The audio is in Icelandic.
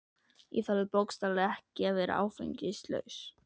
Ég þorði bókstaflega ekki að vera áfengislaus.